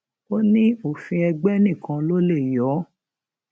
ó ní òfin ègbè nìkan ló lè yọ ọ